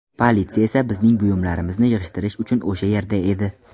Politsiya esa bizning buyumlarimizni yig‘ishtirish uchun o‘sha yerda edi.